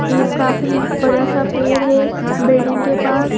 ये काफी बड़ा सा पेड़ है बिल्डिंग के पास--